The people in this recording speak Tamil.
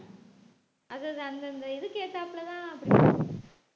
அது அது அந்தந்த இதுக்கு ஏத்தாப்புலதான்